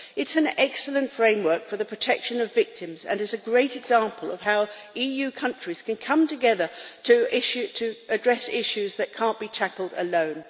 It is an excellent framework for the protection of victims and is a great example of how EU countries can come together to address issues that can't be tackled alone.